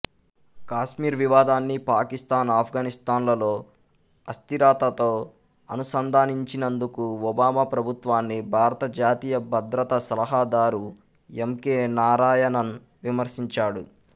కాశ్మీర్ వివాదాన్ని పాకిస్తాన్ ఆఫ్ఘనిస్తాన్లలో అస్థిరతతో అనుసంధానించినందుకు ఒబామా ప్రభుత్వాన్ని భారత జాతీయ భద్రతా సలహాదారు ఎంకె నారాయణన్ విమర్శించాడు